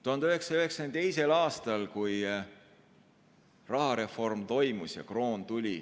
1992. aastal toimus rahareform ja tuli kroon.